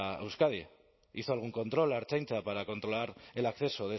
a euskadi hizo algún control la ertzaintza para controlar el acceso